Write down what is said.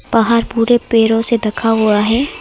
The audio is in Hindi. पहाड़ पूरे पेड़ो से ढका हुआ है।